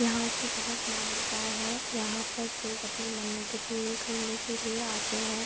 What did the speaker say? यहां की बहोत मान्यता है। यहां पर लोग अपनी मन्नते पूरे करने के लिए आते हैं।